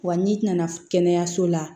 Wa n'i nana kɛnɛyaso la